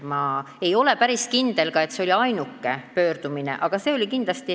Ma ei ole ka päris kindel, et see oli ainuke pöördumine.